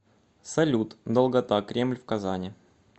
салют долгота кремль в казани